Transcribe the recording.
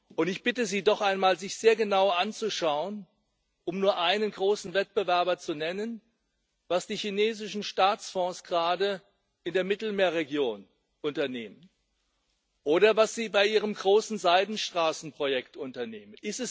Und ich bitte Sie, sich doch einmal sehr genau anzuschauen um nur einen großen Wettbewerber zu nennen was die chinesischen Staatsfonds gerade in der Mittelmeerregion unternehmen oder was sie bei ihrem großen Seidenstraßenprojekt unternehmen.